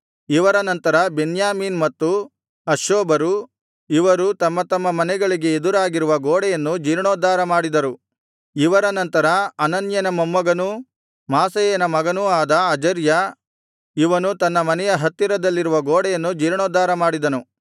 ಇವರ ನಂತರ ಬೆನ್ಯಾಮೀನ್ ಮತ್ತು ಹಷ್ಷೂಬರು ಇವರು ತಮ್ಮ ತಮ್ಮ ಮನೆಗಳಿಗೆ ಎದುರಾಗಿರುವ ಗೋಡೆಯನ್ನು ಜೀರ್ಣೋದ್ಧಾರ ಮಾಡಿದರು ಇವರ ನಂತರ ಅನನ್ಯನ ಮೊಮ್ಮಗನೂ ಮಾಸೇಯನ ಮಗನೂ ಆದ ಅಜರ್ಯ ಇವನು ತನ್ನ ಮನೆಯ ಹತ್ತಿರದಲ್ಲಿರುವ ಗೋಡೆಯನ್ನು ಜೀರ್ಣೋದ್ಧಾರ ಮಾಡಿದನು